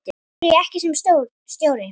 Af hverju ekki sem stjóri?